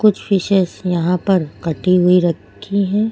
Fishes यहां पर कटी हुई रखी है।